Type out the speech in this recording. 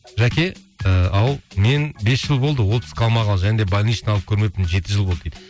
жәке ыыы ау мен бес жыл болды отпуск алмағалы және де больничный алып көрмеппін жеті жыл болды дейді